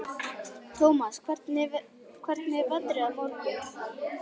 Thomas, hvernig er veðrið á morgun?